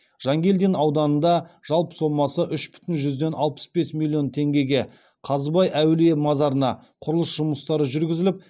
жангелдин ауданында жалпы сомасы үш бүтін жүзден алпыс бес миллион теңгеге қазыбай әулие мазарына құрылыс жұмыстары жүргізіліп